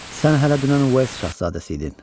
Sən hələ dünən West şahzadəsi idin.